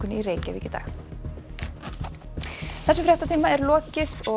í Reykjavík í dag þessum fréttatíma er lokið